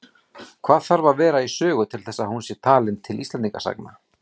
Hvað þarf að vera í sögu til þess að hún sé talin til Íslendingasagna?